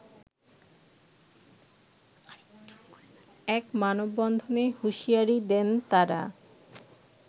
এক মানববন্ধনে হুঁশিয়ারি দেন তারা